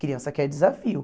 Criança quer desafio.